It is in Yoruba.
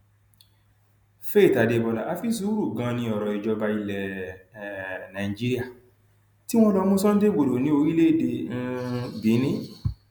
faith adébọlá àfi sùúrù ganan ni ọrọ ìjọba ilẹ um nàíjíríà tí wọn lọọ mú sunday igbodò ní orílẹèdè um benin